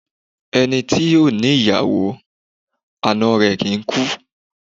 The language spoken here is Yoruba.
Ẹni tí ò ní yàwó, ana rẹ̀ kìí kú